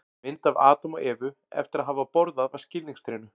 Mynd af Adam og Evu eftir að hafa borðað af skilningstrénu.